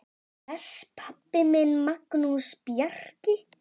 Bless, pabbi minn, Magnús Bjarki.